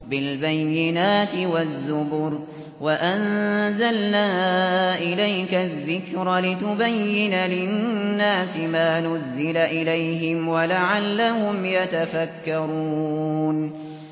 بِالْبَيِّنَاتِ وَالزُّبُرِ ۗ وَأَنزَلْنَا إِلَيْكَ الذِّكْرَ لِتُبَيِّنَ لِلنَّاسِ مَا نُزِّلَ إِلَيْهِمْ وَلَعَلَّهُمْ يَتَفَكَّرُونَ